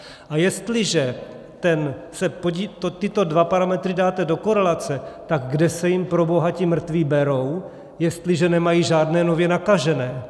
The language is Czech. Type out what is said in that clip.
A jestliže tyto dva parametry dáte do korelace, tak kde se jim proboha ti mrtví berou, jestliže nemají žádné nově nakažené?